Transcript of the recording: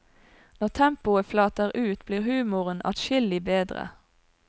Når tempoet flater ut, blir humoren adskillig bedre.